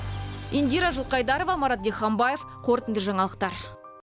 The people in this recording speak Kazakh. индира жылқайдарова марат диханбаев қорытынды жаңалықтар